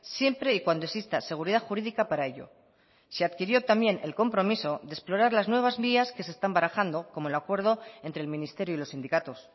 siempre y cuando exista seguridad jurídica para ello se adquirió también el compromiso de explorar las nuevas vías que se están barajando como el acuerdo entre el ministerio y los sindicatos